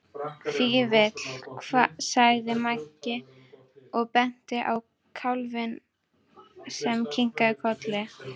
Fífill, sagði Maggi og benti á kálfinn sem kinkaði kolli.